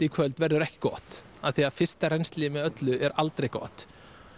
í kvöld verður ekki gott því að fyrsta rennsli með öllu er aldrei gott